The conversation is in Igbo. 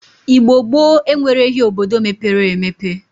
Igbo gboo enwereghi obodo mepere emepe.